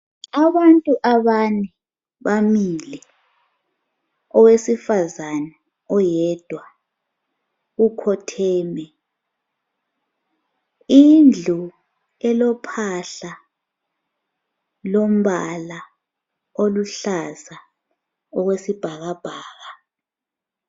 Abantu abane bamile owesifazana oyedwa ukhotheme indlu elophahla lombala oluhlaza okwesibhakabhaka.